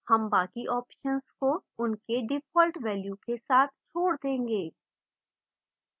हम बाकी options को उनके default values के साथ छोड़ देंगे